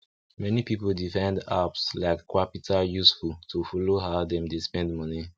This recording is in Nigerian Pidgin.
many people dey find apps like qapital useful to follow how dem dey spend money